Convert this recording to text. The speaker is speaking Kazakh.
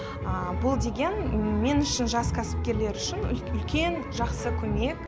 бұл деген мен үшін жас кәсіпкерлер үлкен жақсы көмек